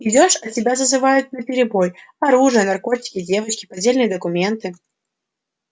идёшь а тебя зазывают наперебой оружие наркотики девочки поддельные документы